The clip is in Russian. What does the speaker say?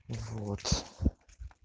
вот